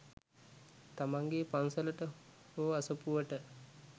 තමන්ගේ පන්සලට හෝ අසපුවට